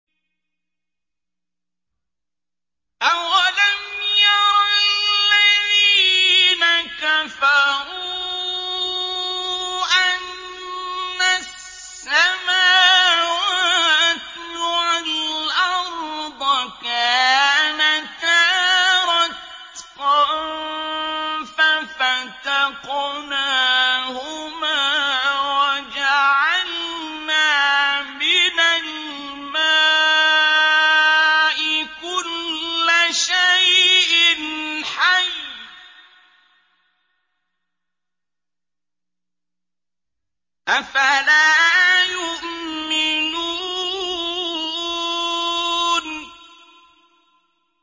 أَوَلَمْ يَرَ الَّذِينَ كَفَرُوا أَنَّ السَّمَاوَاتِ وَالْأَرْضَ كَانَتَا رَتْقًا فَفَتَقْنَاهُمَا ۖ وَجَعَلْنَا مِنَ الْمَاءِ كُلَّ شَيْءٍ حَيٍّ ۖ أَفَلَا يُؤْمِنُونَ